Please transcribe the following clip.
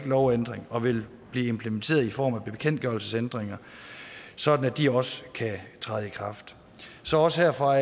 lovændring og vil blive implementeret i form af bekendtgørelsesændringer sådan at de også kan træde i kraft så også herfra